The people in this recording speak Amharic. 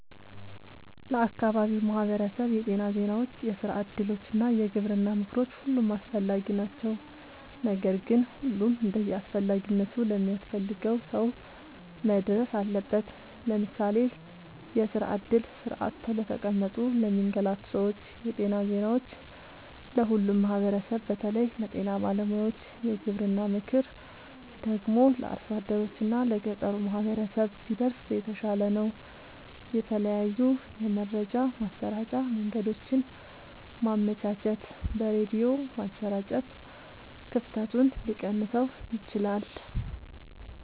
ለአካባቢው ማህበረሰብ የጤና ዜናዎች፣ የስራ እድሎች እና የግብርና ምክሮች ሁሉም አስፈላጊ ናቸው። ነገር ግን ሁሉም እንደየአስፈላጊነቱ ለሚያስፈልገው ሰው መድረስ አለበት። ለምሳሌ፦ የስራ እድል (ስራ አጥተው ለተቀመጡ ለሚንገላቱ ሰዎች) ,የጤና ዜናዎች(ለሁሉም ማህበረሰብ በተለይ ለጤና ባለሙያዎች) ,የግብርና ምክር ደግሞ(ለአርሶ አደሮች እና ለገጠሩ ማህበረሰብ) ቢደርስ የተሻለ ነው። የተለያዩ የመረጃ ማሰራጫ መንገዶችን ማመቻቸት(በሬድዮ ማሰራጨት) ክፍተቱን ሊቀንሰው ይችላል።